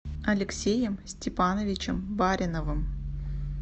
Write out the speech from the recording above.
алексеем степановичем бариновым